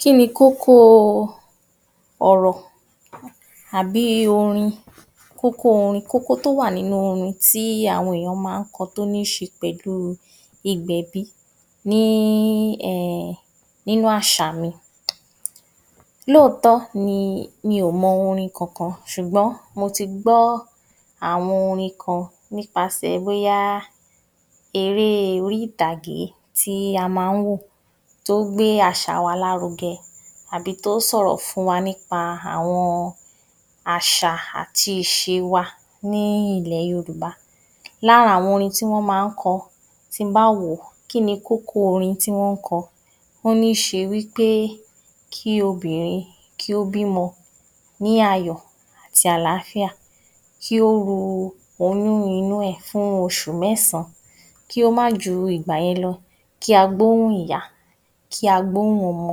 Kí ni kókó ọ̀rọ̀ àbí i orin kókó orin tó wà nínú orin tí àwọn èyàn ma ń kọ tó níṣe pẹ̀lú ìgbẹ̀bí ní í ẹ̀ ẹ̀ nínú àṣà ni, lóòótọ́ ni mi ò mọ orin kankan sùgọ́n mo ti gbọ́ àwọn orin kan nípasẹ̀ bóyá eré orí ìtàgé tí a ma ń wò tó gbé àṣà wa lárugẹ àbí tó sọ̀rọ̀ fún wa ní pa àwọn àṣà àti ìṣé wa ní ilẹ̀ Yorùbá. Lára àwọn orin tí wọ́n ma ń kọ tin bá wo kí ni kókó orin tí wọ́n kọ ó ní ṣe wí pé kí Obìnrin kí ó bímọ ní ayọ̀ àti àláfíà, kí ó ru oyún inú ẹ̀ fún osù mẹsan kí ó má ju ìgbà yẹn lọ, kí a gbóhùn ìyá kí a gbóhùn ọmọ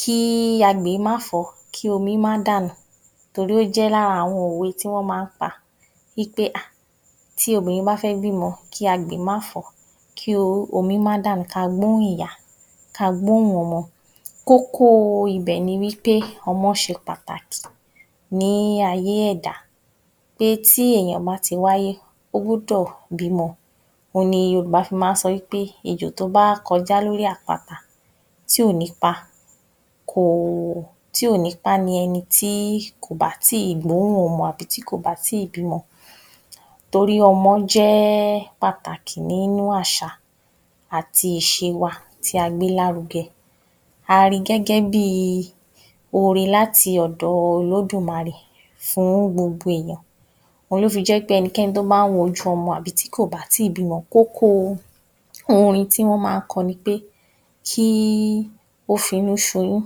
kí í agbè má fọ́ kí omi má dànù torí ó jẹ́ lára àwọn òwe tí wọ́n ma ń pa wí pé à tí obínrin bá fẹ́ bímọ kí agbè má fọ́ kí omi má dànù ka gbóhùn ìyá ka gbóhùn ọmọ kókó ibẹ̀ ni wí pé ọmọ ṣe pàtàkì ní ayé ẹ̀dá pé tí èyàn bá ti wáyé ó gbúdọ̀ bímọ o ni Yorùbá fi ma ń sọ wí pé ejò tó bá kọjá lórí àpáta tí ò ní pa kò tí ò ní pá ni ẹnití kò bá tí gbóhùn ọmọ àbí tí kò bá tí bímọ torí ọmọ jẹ́ ẹ́ pàtàkì nínú àṣà àti ìṣé wa tí a gbé lárugẹ a ri gẹ́gẹ́ bí i ore láti òdò olódùmarè fún gbogbo èyàn òhun lò fi jẹ́ pé ẹnikẹ́ni tó bá ń wojú ọmọ àbi tí kò bá tíì bímọ kókó orin tí wọ́n ma ń kọ ni pé, kí ó finú ṣoyún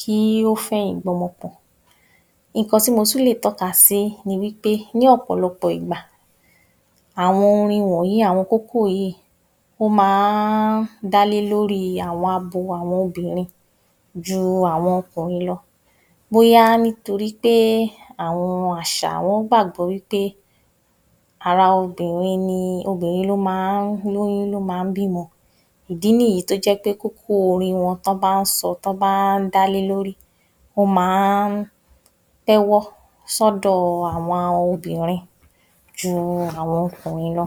kí ó fẹ̀yìn gbọ́mọ pọ̀ nkàn tí mọ tún lè tọ́ka sí ni wí pé ní ọ̀pọ̀lọpọ̀ ìgbà àwọn orin wọ̀nyí, àwọn kókó yìí ó ma ń dálé lórí àwọn abo àwọn obìnrin ju àwọn ọkùnrin lọ bọ́yá nítorí pé àwọn àṣà ẹn gbàgbọ́ wí pé ara obìnrin ni obìnrin lo ma ń lóyún lo ma ń bímọ ìdí nìyí tó jẹ́ pé kókó orin wọn tán bá ń sọ tán bá dá lé ló rí, o ma ń tẹ́wọ́ sọ̀dọ́ àwọn obìnrin ju àwọn ọkùnrin lọ.